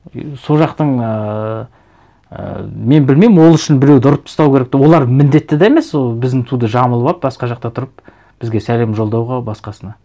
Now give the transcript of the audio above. и сол жақтын ыыы і мен білмеймін ол үшін біреуді ұрып тастау керек деп олар міндетті де емес ол біздің туды жамылып алып басқа жақта тұрып бізге сәлем жолдауға басқасына